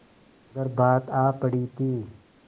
मगर बात आ पड़ी थी